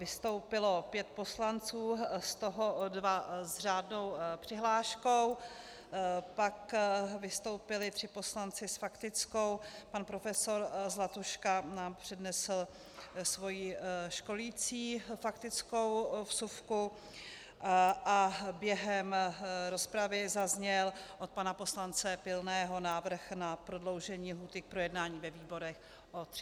Vystoupilo pět poslanců, z toho dva s řádnou přihláškou, pak vystoupili tři poslanci s faktickou, pan profesor Zlatuška nám přednesl svou školicí faktickou vsuvku a během rozpravy zazněl od pana poslance Pilného návrh na prodloužení lhůty k projednání ve výborech o 30 dnů.